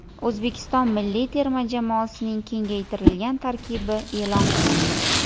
O‘zbekiston milliy terma jamoasining kengaytirilgan tarkibi e’lon qilindi.